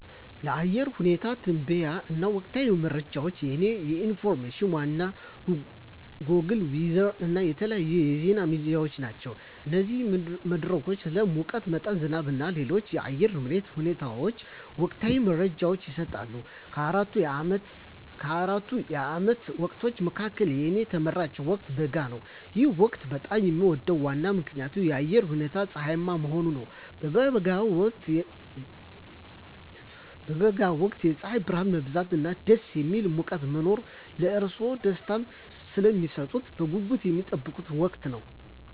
ለአየር ሁኔታ ትንበያዎች እና ወቅታዊ መረጃዎች፣ የእኔ ዋና የኢንፎርሜሽን ምንጮች ጎግል ዌዘር እና የተለያዩ የዜና ሚዲያዎች ናቸው። እነዚህ መድረኮች ስለ ሙቀት መጠን፣ ዝናብ እና ሌሎች የአየር ንብረት ሁኔታዎች ወቅታዊ መረጃዎችን ይሰጣሉ። ከአራቱ የዓመት ወቅቶች መካከል፣ የእኔ ተመራጭ ወቅት በጋ ነው። ይህ ወቅት በጣም የሚወደድበት ዋና ምክንያት የአየሩ ሁኔታ ፀሐያማ መሆኑ ነው። በበጋ ወቅት የፀሐይ ብርሃን መብዛት እና ደስ የሚል ሙቀት መኖር ለእርስዎ ደስታን ስለሚሰጡት በጉጉት የሚጠበቅ ወቅት ነው።